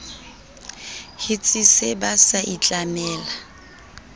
hetse sa ba sa itlamela